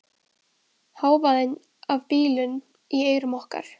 Hávaði af bílum í eyrum okkar.